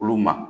Olu ma